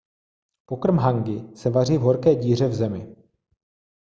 pokrm hangi se vaří v horké díře v zemi